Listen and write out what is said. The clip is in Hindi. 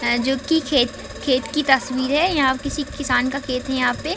अअ जो कि खेत खेत की तस्वीर हैं यहाँ किसी किसान का खेत है यहाँ पे --